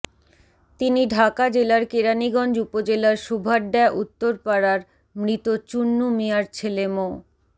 তিনি ঢাকা জেলার কেরানীগঞ্জ উপজেলার শুভাড্যা উত্তর পাড়ার মৃত চুন্নু মিয়ার ছেলে মো